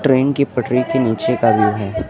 Train की पटरी के नीचे का व्यूव है।